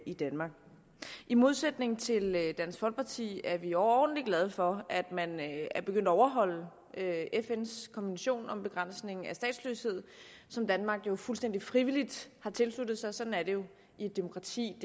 i danmark i modsætning til dansk folkeparti er vi overordentlig glade for at man er begyndt at overholde fns konvention om begrænsning af statsløshed som danmark jo fuldstændig frivilligt har tilsluttet sig sådan er det jo i et demokrati